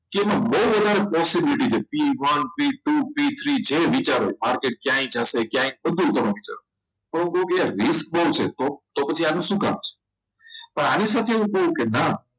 એમાં બહુ વધારે possibility છે p one p two p three જે વિચારો માર્કેટ ક્યાં આવી જશે ક્યાં બધું તમે વિચારો કોઈકે list બહુ છે તો તો પછી આને શું કામ છે પણ આની સાથે કોઈ કે ના